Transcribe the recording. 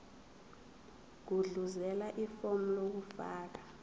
gudluzela ifomu lokufaka